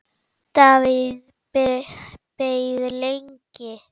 Davíð beið lengi.